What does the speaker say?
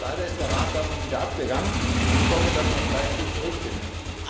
Leider ist der Rat davon wieder abgegangen, und ich hoffe, dass man vielleicht hier zurückfindet.